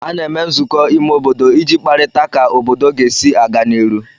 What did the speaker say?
A na-eme nzụkọ ime obodo iji kparịta ka obodo ga-esi aga n'iru